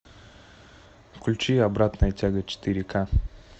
включи обратная тяга четыре ка